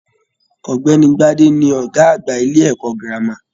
Ọ̀gbẹ́ni Gbade ni ọgá àgbà ilé ẹ̀kọ́ gírámà